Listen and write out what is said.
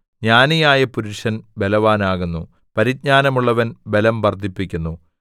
ജ്ഞാനിയായ പുരുഷൻ ബലവാനാകുന്നു പരിജ്ഞാനമുള്ളവൻ ബലം വർദ്ധിപ്പിക്കുന്നു